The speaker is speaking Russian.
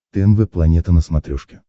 тнв планета на смотрешке